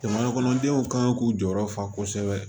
Jamana kɔnɔdenw kan k'u jɔyɔrɔ fa kosɛbɛ